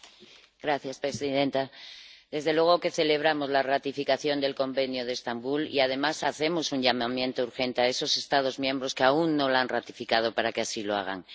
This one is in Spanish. Señora presidenta, desde luego que celebramos la ratificación del Convenio de Estambul y, además, hacemos un llamamiento urgente a esos Estados miembros que aún no lo han ratificado para que así lo hagan.